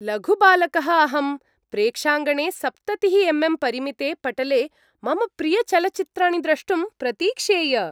लघुबालकः अहं, प्रेक्षाङ्गणे सप्ततिः एम् एम् परिमिते पटले मम प्रियचलच्चित्राणि द्रष्टुं प्रतीक्षेय।